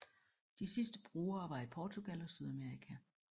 De sidste brugere var i Portugal og Sydamerika